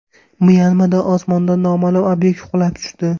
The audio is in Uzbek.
Myanmada osmondan noma’lum obyekt qulab tushdi.